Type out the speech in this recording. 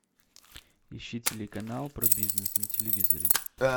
ищи телеканал про бизнес на телевизоре